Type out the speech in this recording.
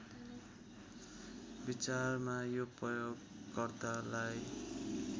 विचारमा यो प्रयोगकर्तालाई